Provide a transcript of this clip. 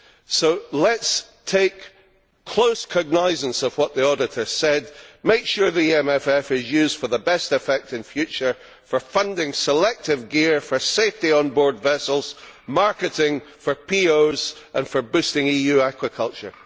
So let us take close cognisance of what the Auditors said, make sure the EMFF is used for the best effect in future for funding selective gear for safety on board vessels, marketing for POs and for boosting EU aquaculture.